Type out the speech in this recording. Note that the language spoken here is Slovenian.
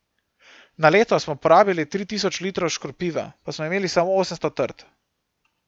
Na leto smo porabili tri tisoč litrov škropiva, pa smo imeli samo osemsto trt.